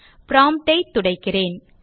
prompt ஐ துடைக்கிறேன்